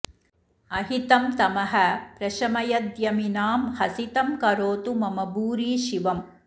अहितं तमः प्रशमयद्यमिनां हसितं करोतु मम भूरि शिवम्